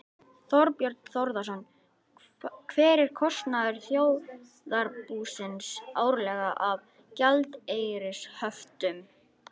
Þorbjörn Þórðarson: Hver er kostnaður þjóðarbúsins árlega af gjaldeyrishöftum?